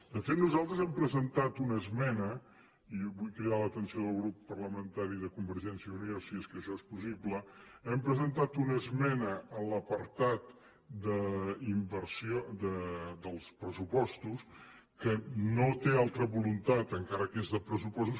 de fet nosaltres hem presentat una esmena i vull cridar l’atenció del grup parlamentari de convergència i unió si és que això és possible a l’apartat dels pressupostos que no té altra voluntat encara que és de pressupostos